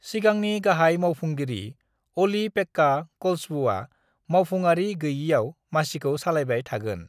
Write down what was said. सिगांनि गाहाय मावफुंगिरि अलि-पेक्का कलसवुआ मावफुंआरि गैयिआव मासिखौ सालायबाय थागोन।